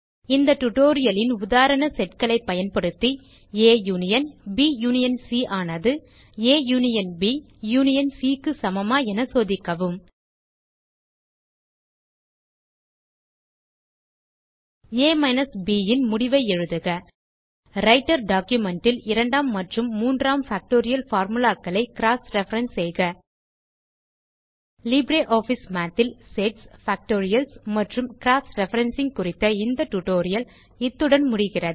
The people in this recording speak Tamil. இந்த டியூட்டோரியல் ன் உதாரண Setகளை பயன்படுத்தி ஆ யூனியன் ஆனது யூனியன் Cக்கு சமமா என சோதிக்கவும் ஆ மைனஸ் Bன் முடிவை எழுதுக ரைட்டர் documentல் இரண்டாம் மற்றும் மூன்றாம் பாக்டோரியல் formulaக்களை க்ராஸ் ரெஃபரன்ஸ் செய்க லிப்ரியாஃபிஸ் Mathல் செட்ஸ் பாக்டோரியல்ஸ் மற்றும் க்ராஸ் ரெஃபரன்சிங் குறித்த இந்த டியூட்டோரியல் இத்துடன் முடிகிறது